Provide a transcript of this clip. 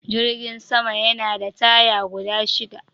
Jirgin sama Yana da taya guda shida